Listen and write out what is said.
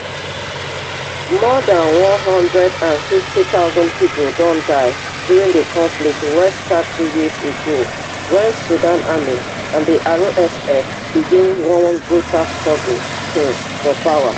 more dan one hundred and fifty thousand pipo don die during di conflict wey start two years ago wen sudan army and di rsf begin one brutal struggle um for power